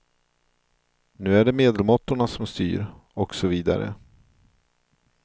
Nu är det medelmåttorna som styr, och så vidare.